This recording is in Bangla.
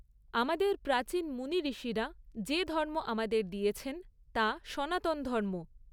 আমাদের প্রাচীন মুনি ঋষিরা যে ধর্ম আমাদের দিয়েছেন তা সনাতন ধর্ম।